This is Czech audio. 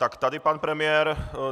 Tak tady pan premiér...